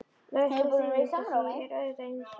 Lausleg þýðing á því er auðvitað Einsi!